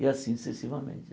E assim sucessivamente.